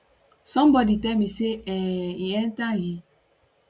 somebodi tell me say um e enta im